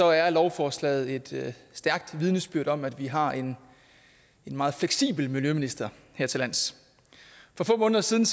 er lovforslaget et stærkt vidnesbyrd om at vi har en meget fleksibel miljøminister hertillands for få måneder siden